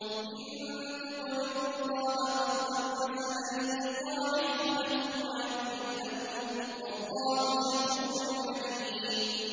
إِن تُقْرِضُوا اللَّهَ قَرْضًا حَسَنًا يُضَاعِفْهُ لَكُمْ وَيَغْفِرْ لَكُمْ ۚ وَاللَّهُ شَكُورٌ حَلِيمٌ